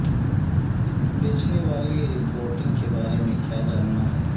بیچنے والی رپورٹنگ کے بارے میں کیا جاننا ہے